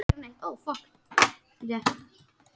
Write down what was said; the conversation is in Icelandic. Mynd: Ólafur Arnalds.